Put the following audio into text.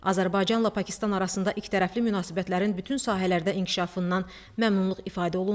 Azərbaycanla Pakistan arasında ikitərəfli münasibətlərin bütün sahələrdə inkişafından məmnunluq ifadə olundu.